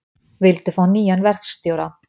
Vildu fá nýjan verkstjóra